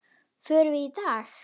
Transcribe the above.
Förum við í dag?